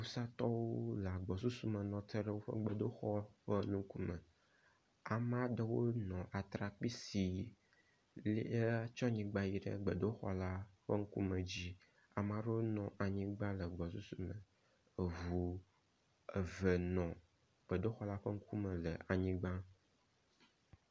wusatɔwo le agbɔsusume nɔte ɖe wóƒe gbedoxɔ ƒe nukume amaɖewo nɔ atrakpi si lie tɔnyigbã yiɖe gbedoxɔ la ƒe ŋkume dzi amaɖewo no anyigbã le gbɔsusu me eʋu eve nɔ gbedoxɔla ƒe ŋkume le anyigbã